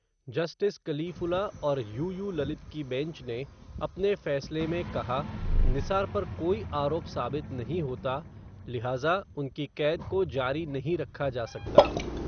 Justice Kalifulla और U U Lalit की bench ने, अपने फ़ैसले में कहा, निसार पर कोई आरोप साबित नहीं होता, लिहाज़ा, उनकी क़ैद को जारी नहीं रखा जा सकता.